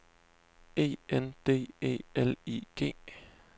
E N D E L I G